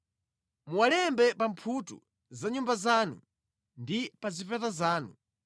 Muwalembe pa mphuthu za nyumba zanu ndi pa zipata zanu,